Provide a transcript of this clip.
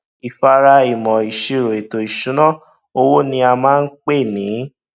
ìfáàrà ìmọ ìṣirò ètò ìṣúná owó ní a máa ń pè ní